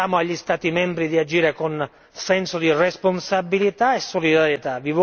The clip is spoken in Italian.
Diciamo agli Stati membri di agire con senso di responsabilità e solidarietà.